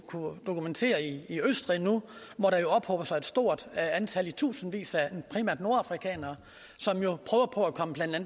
dokumentere i østrig hvor der ophober sig et stort antal i tusindvis af primært nordafrikanere som jo prøver på at komme